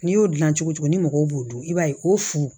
N'i y'o dilan cogo cogo ni mɔgɔw b'u dun i b'a ye o fu